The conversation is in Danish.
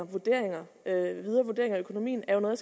vurderinger af økonomien er jo noget